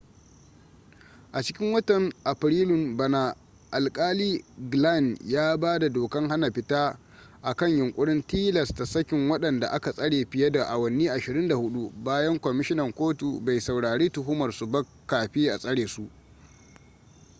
a cikin watan afrilun bana alkali glynn ya ba da dokan hana fita akan yunkurin tilasta sakin wadanda aka tsare fiye da awanni 24 bayan kwamishinan kotu bai saurari tuhumar su ba kafi a tsare su